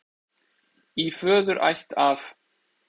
Í föðurætt af